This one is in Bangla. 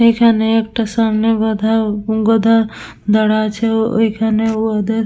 এইখানে একটা সামনে বধা উ গধা দাড়া আছে। ওইখানে উ উদের--